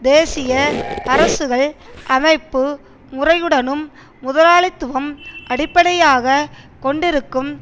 தேசிய அரசுகள் அமைப்பு முறையுடனும் முதலாளித்துவம் அடிப்படையாக கொண்டிருக்கும்